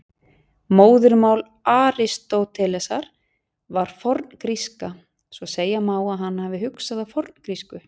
Móðurmál Aristótelesar var forngríska, svo segja má að hann hafi hugsað á forngrísku.